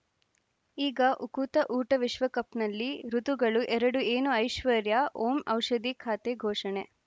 ಈಗ ಉಕುತ ಊಟ ವಿಶ್ವಕಪ್‌ನಲ್ಲಿ ಋತುಗಳು ಎರಡು ಏನು ಐಶ್ವರ್ಯಾ ಓಂ ಔಷಧಿ ಖಾತೆ ಘೋಷಣೆ